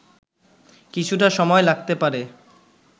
কিছুটা সময় লাগতে পারে